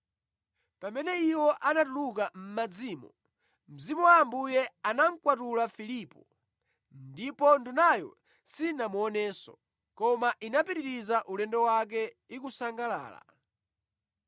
Pamene iwo anatuluka mʼmadzimo, Mzimu wa Ambuye anamukwatula Filipo, ndipo Ndunayo sinamuonenso, koma inapitiriza ulendo wake ikusangalala.